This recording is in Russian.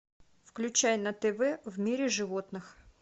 включай на тв в мире животных